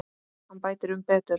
Hann bætir um betur.